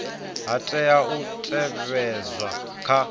ha tea u teavhedzwa kha